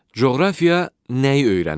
Coğrafiya nəyi öyrənir?